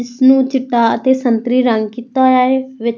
ਇਸ ਨੂੰ ਚਿੱਟਾ ਅਤੇ ਸੰਤਰੀ ਰੰਗ ਕੀਤਾ ਹੋਇਆ ਹੈ।